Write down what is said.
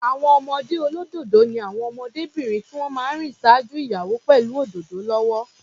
Àwọn ọmọdé olódòdó ni àwọn ọmọdébìnrin tí wọ́n máa ń rìn ṣáájú ìyàwó pẹ̀lú òdòdó lọ́wọ́.